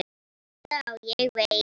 Já, ég veit